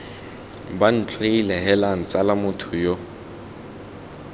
bantlhoile heelang tsala motho yo